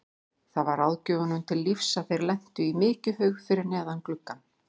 Það varð ráðgjöfunum til lífs að þeir lentu í mykjuhaug fyrir neðan gluggann.